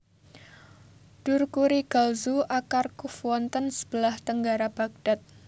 Dur Kurigalzu Aqar Quf wonten sebelah tenggara Bagdad